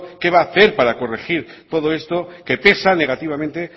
qué va a hacer para corregir todo esto que pesa negativamente